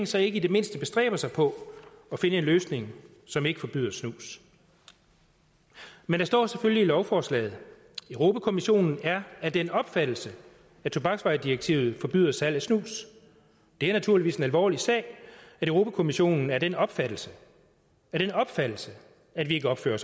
så ikke i det mindste bestræber sig på at finde en løsning som ikke forbyder snus men der står selvfølgelig i lovforslaget kommissionen er af den opfattelse at tobaksvaredirektivet forbyder salg af snus det er naturligvis en alvorlig sag at europa kommissionen er af den opfattelse af den opfattelse at vi ikke opfører